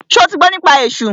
Ṣo ti gbọ́ nípa esú?